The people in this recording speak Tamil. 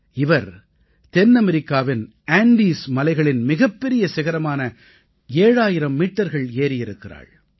இவர் தென்னமெரிக்காவின் ஆண்டெஸ் மலைகளின் மிகப்பெரிய சிகரமான 7000 மீட்டர்கள் ஏறியிருக்கிறாள்